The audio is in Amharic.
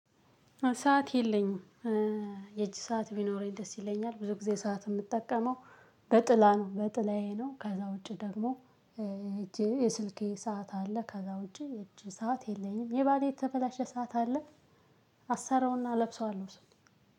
ሰዓት የለኝም የእጅ ሰዓት ቢኖረኝ ደስ ይለኛል ብዙ ጊዜ ሰዓት የምጠቀመው በጥላ ነው በጥላዬ ነው። ከዛ ውጪ ደግሞ እጄ የስልኬ ሰዓት አለ። ከዛ ውጪ የእጅ ሰዓት የለኝም የባሌ የተበላሸ ሰዓት አለ። አሰራውና እለብሰዋለሁ እሱን